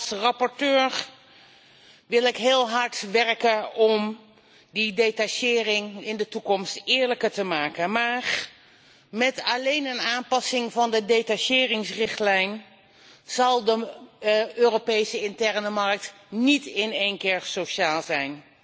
Als rapporteur wil ik heel hard werken om die detachering in de toekomst eerlijker te maken, maar met alleen een aanpassing van de detacheringsrichtlijn zal de Europese interne markt niet in één keer sociaal zijn.